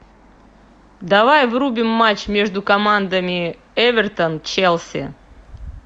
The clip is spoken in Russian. давай врубим матч между командами эвертон челси